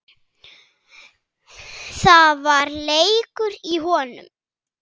Það var leikur í honum